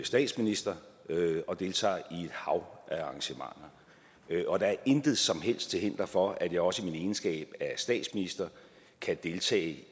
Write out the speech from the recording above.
statsminister og deltager i et hav af arrangementer og der er intet som helst til hinder for at jeg også i min egenskab af statsminister kan deltage